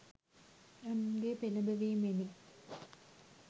අනුන්ගේ පෙළඹවීමෙනි